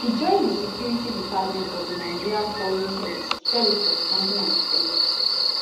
e join di security department of di nigerian foreign service service for 1993